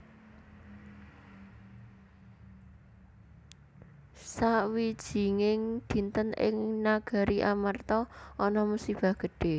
Sawijinging dinten ing Nagari Amarta ana musibah gedhe